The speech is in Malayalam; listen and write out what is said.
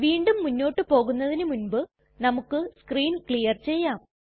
വീണ്ടും മുന്നോട്ട് പോകുന്നതിനു മുൻപ് നമുക്ക് സ്ക്രീൻ ക്ലിയർ ചെയ്യാം